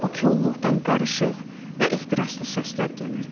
Bu kolluqdan qarışıq və ehtiraslı səslər gəlirdi.